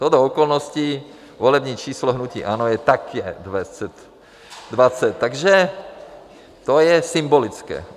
Shodou okolností, volební číslo hnutí ANO je také 20, takže to je symbolické.